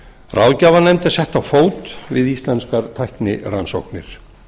ráðgjafarnefnd er sett á fót við íslenskar tæknirannsóknir